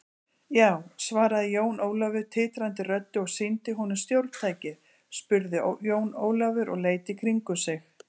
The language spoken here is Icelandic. Já, svaraði Jón Ólafur titrandi röddu og sýndi honum stjórntækið spurði Jón Ólafur og leit í kringum sig.